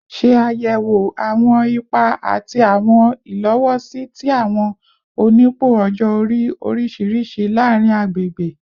Ṣe ayẹwo awọn ipa ati awọn ilowosi ti awọn onipò ọjọ-ori oriṣiriṣi laarin agbegbe